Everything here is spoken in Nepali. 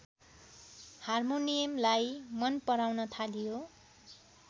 हार्मोनियमलाई मनपराउन थालियो